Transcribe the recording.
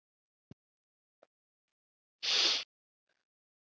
Það er aldrei nógu gott.